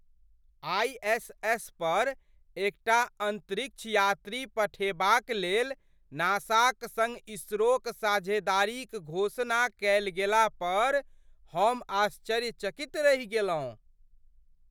ISS. पर एकटा अंतरिक्ष यात्री पठेबाक लेल नासाक सङ्ग इसरोक साझेदारीक घोषणा कएल गेला पर हम आश्चर्यचकित रहि गेलहुँ!